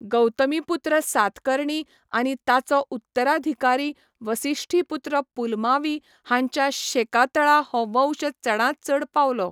गौतमीपुत्र सातकर्णी आनी ताचो उत्तराधिकारी वसिष्ठीपुत्र पुलमावी हांच्या शेकातळा हो वंश चडांत चड पावलो.